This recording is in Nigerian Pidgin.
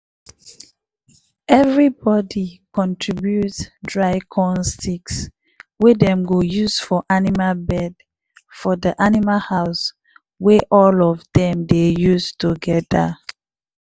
everybody contribute dry corn sticks wey dem go use for animal bed for de animal house we all of dem dey use togeda.